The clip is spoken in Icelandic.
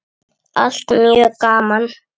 Allt mjög gaman.